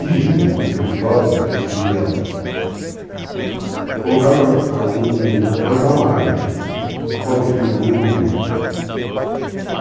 Dizem, o antigo filósofo, que seria, colocar um um, plantar uma árvore, pôr um filho no mundo e um livro.